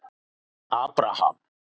Abraham